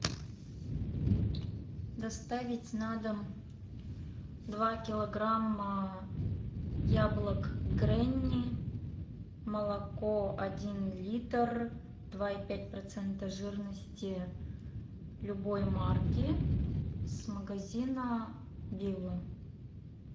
доставить на дом два килограмма яблок гренни молоко один литр два и пять процента жирности любой марки с магазина билла